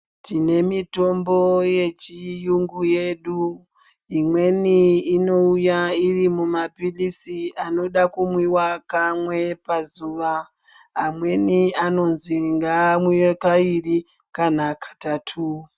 Tine mitombo yechiyungu yedu imweni ino uya iri muma pilisi anoda kumwiwa kamwe pazuva amweni anonzi ngaa mwiwe kaari kana katatu.